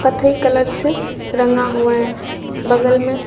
कत्थई कलर से रंगा हुआ है बगल में।